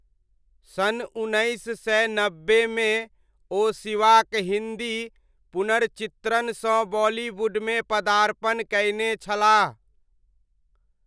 सन् उन्नैस सय नब्बेमे ओ शिवाक हिन्दी पुनर्चित्रणसँ बॉलीवुडमे पदार्पण कयने छलाह।